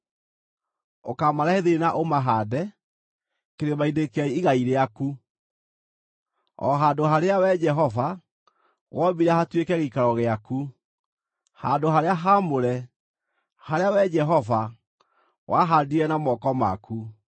Ũkaamarehe thĩinĩ na ũmahaande kĩrĩma-inĩ kĩa igai rĩaku, o handũ harĩa, Wee Jehova, wombire hatuĩke gĩikaro gĩaku, handũ-harĩa-haamũre, harĩa Wee Jehova, wahaandire na moko maku.